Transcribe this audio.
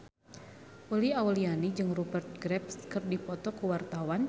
Uli Auliani jeung Rupert Graves keur dipoto ku wartawan